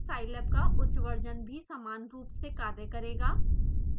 scilab का उच्च version भी समान रूप से कार्य करेगा